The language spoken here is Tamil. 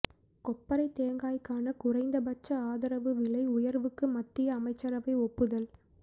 கொப்பரைத் தேங்காய்க்கான குறைந்த பட்ச ஆதரவு விலை உயர்வுக்கு மத்திய அமைச்சரவை ஒப்புதல்